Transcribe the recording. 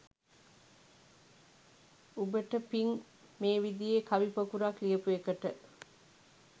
උබට පිං මේ විදියේ කවි පොකුරක් ලියපු එකට